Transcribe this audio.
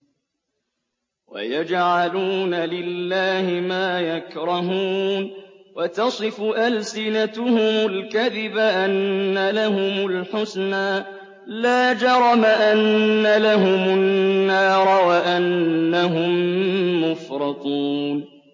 وَيَجْعَلُونَ لِلَّهِ مَا يَكْرَهُونَ وَتَصِفُ أَلْسِنَتُهُمُ الْكَذِبَ أَنَّ لَهُمُ الْحُسْنَىٰ ۖ لَا جَرَمَ أَنَّ لَهُمُ النَّارَ وَأَنَّهُم مُّفْرَطُونَ